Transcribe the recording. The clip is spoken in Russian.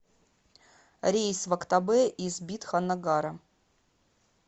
рейс в актобе из бидханнагара